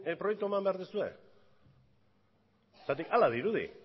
proiektua eman behar duzue zergatik hala dirudi